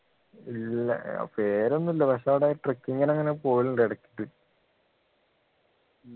ഇല്ല ഏർ പേരൊന്നും ഇല്ല പക്ഷെ അവിടെ trucking നു അങ്ങനെ പോകലുണ്ട് ഇടക്ക്